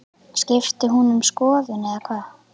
Skipti hún um skoðun eða hvað?